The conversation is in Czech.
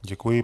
Děkuji.